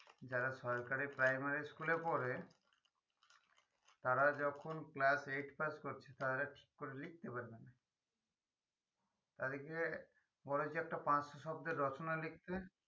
যারা সরকারি primary school এ পড়ে তারা যখন class eight pass করছে তারা ঠিক করে লিখতে পারেনা তালে কি হয়ই পরে যে একটা পাঁচশো শব্দের রচনা লিখতে